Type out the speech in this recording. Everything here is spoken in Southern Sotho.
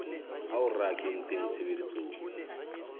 ao re a kentseng tshebetsong